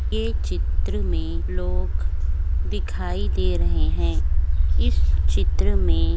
ये चित्र में लोग दिखाई दे रहै हैं। इस चित्र में --